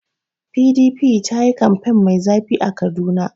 PDP ta yi kamfen mai zafi a Kaduna.